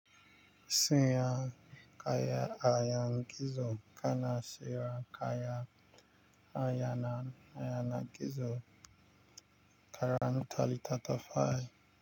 Siyan kaya ayan gizo kana siyan kaya ayana ayanar gizo karanta littattafai.